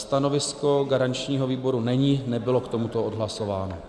Stanovisko garančního výboru není, nebylo k tomuto odhlasováno.